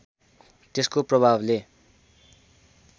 त्यसको प्रभावले